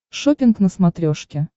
шоппинг на смотрешке